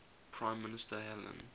prime minister helen